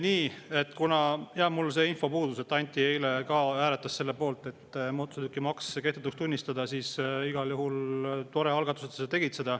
Nii, kuna mul see info puudus, et Anti eile ka hääletas selle poolt, et mootorsõidukimaks kehtetuks tunnistada, siis igal juhul on tore, et sa seda tegid.